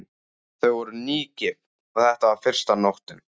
Þau voru nýgift og þetta var fyrsta nóttin.